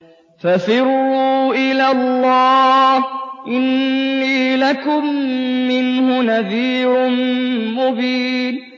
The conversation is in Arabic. فَفِرُّوا إِلَى اللَّهِ ۖ إِنِّي لَكُم مِّنْهُ نَذِيرٌ مُّبِينٌ